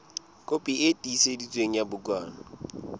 kopi e tiiseditsweng ya bukana